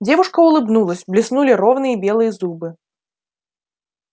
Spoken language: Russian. девушка улыбнулась блеснули ровные белые зубы